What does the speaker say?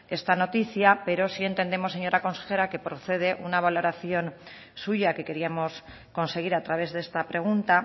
esta noticia pero sí entendemos señora consejera que procede una valoración suya que queríamos conseguir a través de esta pregunta